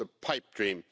It's a pipe dream.